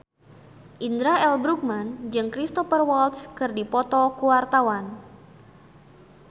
Indra L. Bruggman jeung Cristhoper Waltz keur dipoto ku wartawan